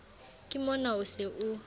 ke mona o se o